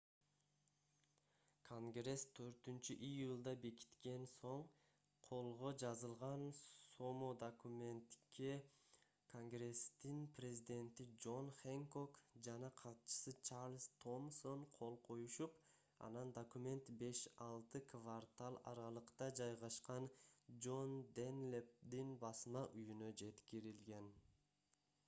конгресс 4-июлда бекиткен соң колго жазылган сомо документке конгресстин президенти джон хэнкок жана катчысы чарльз томсон кол коюшуп анан документ беш-алты квартал аралыкта жайгашкан джон данлэпдин басма үйүнө жеткирилген